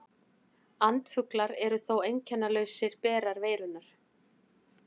Andfuglar eru þó einkennalausir berar veirunnar.